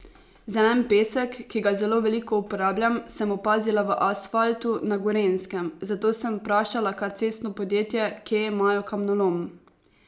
Zelen pesek, ki ga zelo veliko uporabljam, sem opazila v asfaltu na Gorenjskem, zato sem vprašala kar cestno podjetje, kje imajo kamnolom.